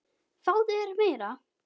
Fáðu þér meira!